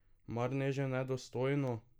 Mar ne že nedostojno?